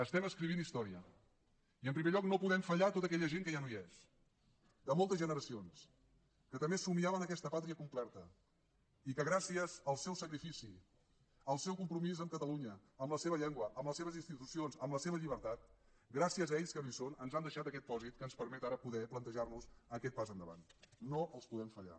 estem escrivint història i en primer lloc no podem fallar a tot aquella gent que ja no hi és de moltes generacions que també somniaven aquesta pàtria completa i que gràcies al seu sacrifici al seu compromís amb catalunya amb la seva llengua amb les seves institucions amb la seva llibertat gràcies a ells que no hi són ens han deixat aquest pòsit que ens permet ara poder plantejarnos aquest pas endavant no els poden fallar